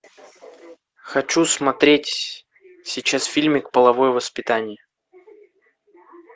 хочу смотреть сейчас фильмик половое воспитание